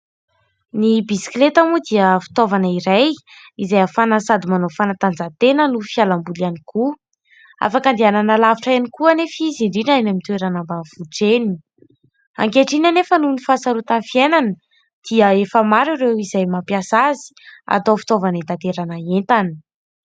Ny bisikileta moa dia fitaovana iray izay ahafahana sady manao fanatanjahantena no fialamboly ihany koa. Afaka andehanana alavitra ihany koa anefa izy, indrindra eny amin'ny toerana ambanivohitra eny. Ankehitriny anefa, nohon'ny fahasarotan'ny fiainana dia efa maro ireo izay mampiasa azy atao fitaovana hitaterana entana.